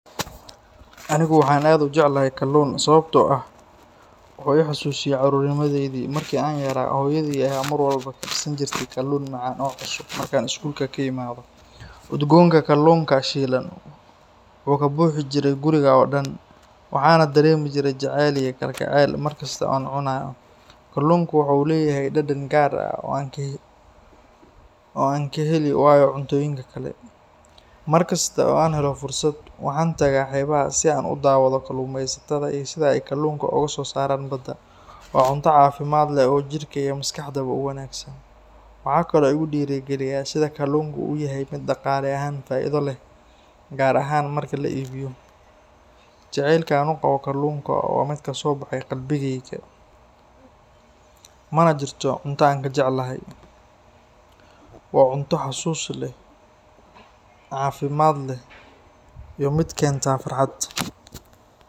Aniga waxaan aad u jeclahay kalluun sababtoo ah waxa uu i xasuusiyaa carruurnimadaydii. Markii aan yaraa, hooyaday ayaa mar walba karsan jirtay kalluun macaan oo cusub markaan iskuulka ka imaado. Udgoonka kalluunka shiilan wuxuu ka buuxi jiray guriga oo dhan, waxaana dareemi jiray jacayl iyo kalgacayl markasta oo aan cunayo. Kalluunku waxa uu leeyahay dhadhan gaar ah oo aan ka heli waayo cuntooyinka kale. Markasta oo aan helo fursad, waxaan tagaa xeebaha si aan u daawado kalluumaysatada iyo sida ay kalluunka uga soo saaraan badda. Waa cunto caafimaad leh oo jirka iyo maskaxdaba u wanaagsan. Waxaa kaloo igu dhiirrigeliya sida kalluunku u yahay mid dhaqaale ahaan faa’iido leh, gaar ahaan marka la iibiyo. Jacaylka aan u qabo kalluunka waa mid kasoo baxay qalbigayga, mana jirto cunto aan ka jeclahay. Waa cunto xasuus leh, caafimaad leh, iyo mid keenta farxad.